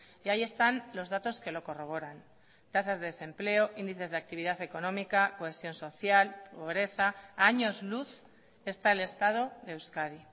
y ahí están los datos que lo corroboran tasas de desempleo índices de actividad económica cohesión social pobreza a años luz está el estado de euskadi